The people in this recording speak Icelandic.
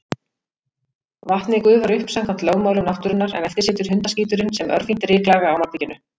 Vatnið gufar upp samkvæmt lögmálum náttúrunnar, en eftir situr hundaskíturinn sem örfínt ryklag á malbikinu.